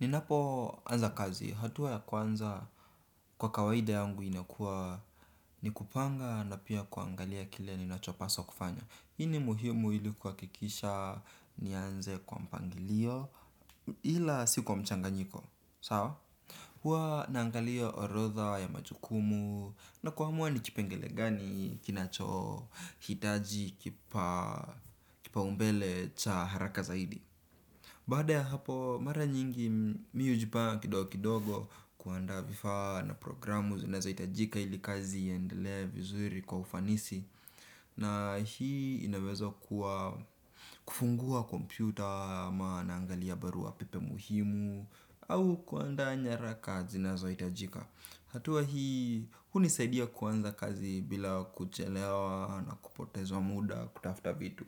Ninapo anza kazi, hatua ya kwanza kwa kawaida yangu inakuwa ni kupanga na pia kuangalia kile ninacho paswa kufanya hii ni muhimu ili kuhakikisha nianze kwa mpangilio ila sikwa mchanganyiko, sawa. Huwa naangalia orodha ya majukumu na kuamua ni kipengele gani kinachohitaji kipa umbele cha haraka zaidi. Baada ya hapo mara nyingi mimi hujinga kidogo kidogo kuanda vifaa na programu zinazohitajika ili kazi ieendelea vizuri kwa ufanisi. Na hii inaweza kuwa kufungua kompyuta ama naangalia barua pepe muhimu au kuandaa nyaraka zinazohitajika. Hatua hii hunisaidia kuanza kazi bila kuchelewa na kupotezwa muda kutafuta vitu.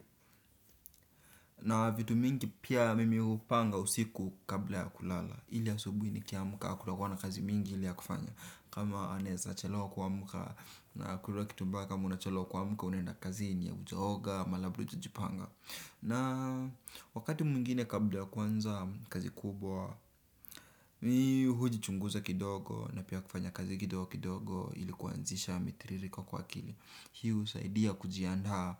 Na vitu mingi pia mimi hupanga usiku kabla ya kulala. Ili asubuhi nikiamka hakutakuwa na kazi mingi ile ya kufanya. Kama naweza chelewa kuamka na hakuna kitu mbaya una chelewa kuamka unaenda kazi na hujaoga ama labda hujajipanga. Na wakati mwengine kabla ya kuanza kazi kubwa huji chunguza kidogo na pia kufanya kazi kidogo kidogo ili kuanzisha mitiririko kwa akili. Hii husaidia kujiandaa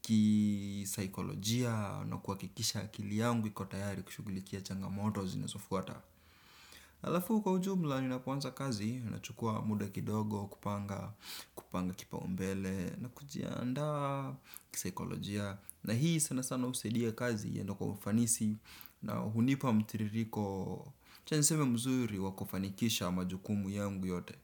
kisikolojia na kuhakikisha akili yangu iko tayari kushughulikia changamoto zinaofuata. Alafu kwa ujumla ninapoanza kazi nachukua muda kidogo kupanga kipaumbele na kujiandaa kisikolojia. Na hii sana sana husaidia kazi iende kwa ufanisi na hunipa mtiririko acha niseme mzuri wa kufanikisha majukumu yangu yote.